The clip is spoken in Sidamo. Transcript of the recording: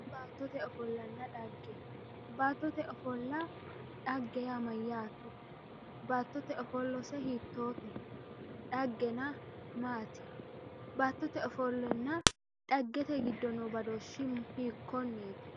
baattote ofollanna xagge baattote ofolla xagge yaa mayaate baattote ofollose hittoote dhagena maati baattote ofollana xaggete gido noo badooshshi hikkoneeti